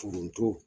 Foronto